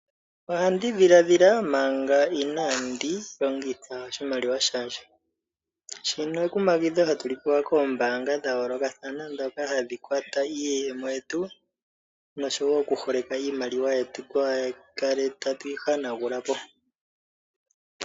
Oha ndi dhiladhila manga inandi longitha oshimaliwa shandje, shino ekumagidho hatu li pewa koombanga dha yoolokathana dhoka hadhi kwata iiyemo yetu noshowo okuholeka iimaliwa yetu, kaa tu kale tatu yi hanagula po.